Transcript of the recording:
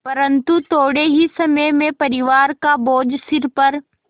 परन्तु थोडे़ ही समय में परिवार का बोझ सिर पर